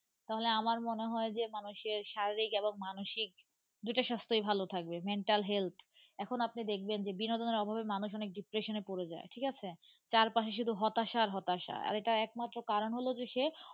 তাহলে আমার মনে হয় যে, মানুষের শারীরিক এবং মানসিক দুটা স্বাস্থই ভালো থাকবে, mental health এখন আপনি দেখবেন যে বিনোদনের অভাবে মানুষ অনেক depression এ পড়ে যায় ঠিক আছে. চারপাশে শুধু হতাশা আর হতাশা আর এটার একমাত্র কারণ হল যে সে,